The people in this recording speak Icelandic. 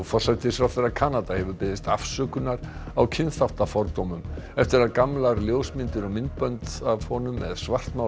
forsætisráðherra Kanada hefur beðist afsökunar á kynþáttafordómum eftir að gamlar ljósmyndir og myndbönd af honum með